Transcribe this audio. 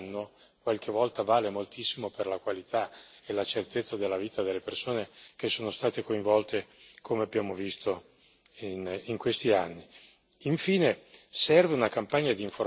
La tempestività nel compensare il danno qualche volta vale moltissimo per la qualità e la certezza della vita delle persone che sono state coinvolte, come abbiamo visto in questi anni.